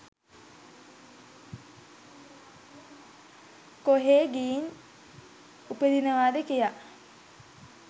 කොහේ ගිහින් උපදිනවාද කියා